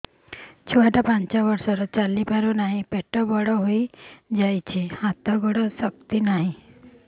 ଛୁଆଟା ପାଞ୍ଚ ବର୍ଷର ଚାଲି ପାରୁନାହଁ ପେଟ ବଡ ହୋଇ ଯାଉଛି ହାତ ଗୋଡ଼ର ଶକ୍ତି ନାହିଁ